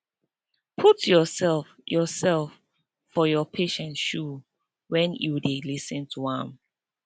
put yourself yourself for your patient shoe when you dey lis ten to am